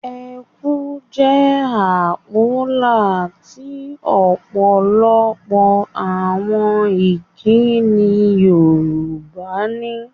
Ẹ kú' jẹ́ àpólà tí ọ̀pọ̀lọpọ̀ àwọn ìkínni Yorùbá ní.